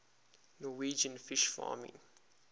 norwegian fish farming